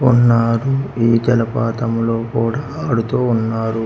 ఉన్నారు ఈ జలపాతం లో కూడా ఆడుతూ ఉన్నారు.